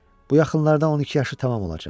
Bu yaxınlarda 12 yaşı tamam olacaq.